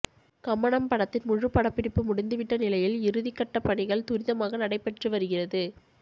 கமனம் படத்தின் முழு படப்பிடிப்பு முடிந்துவிட்ட நிலையில் இறுதிக்கட்ட பணிகள் துரிதமாக நடைபெற்று வருகிறது